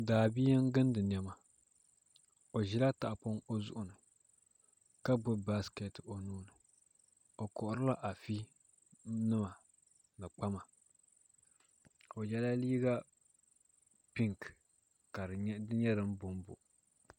Daabia n gindi niɛma o ʒila tahapoŋ o zuɣu ni ka gbubi baskɛt o nuuni o koharila afi nima ni kpama o yɛla liiga pink ka di nyɛ din bonbo